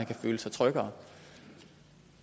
kan føle sig tryggere